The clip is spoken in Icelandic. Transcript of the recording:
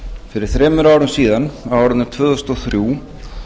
fyrir þremur árum síðan á árinu tvö þúsund og þrjú